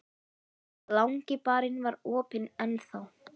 Langi barinn var opinn enn þá.